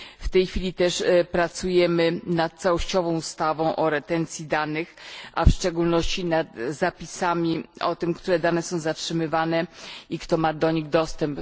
W tej chwili pracujemy też nad całościową ustawą o retencji danych, a w szczególności nad zapisami o tym, które dane są zatrzymywane i kto ma do nich dostęp.